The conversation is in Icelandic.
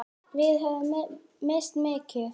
Við höfum misst mikið.